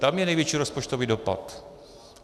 Tam je největší rozpočtový dopad.